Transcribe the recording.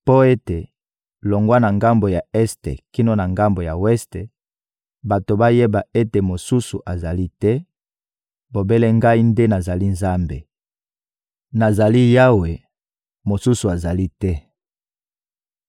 mpo ete, longwa na ngambo ya este kino na ngambo ya weste, bato bayeba ete mosusu azali te, bobele Ngai nde nazali Nzambe. Nazali Yawe, mosusu azali te.